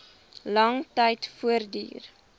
lang tyd voortduur